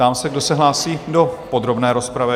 Ptám se, kdo se hlásí do podrobné rozpravy?